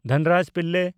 Dhanraj Pillay